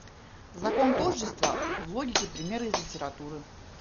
закон тождества в логике примеры из литературы